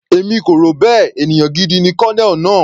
Èmi kò rò bẹ́ẹ̀, ènìyàn gidi ni Colonel náà.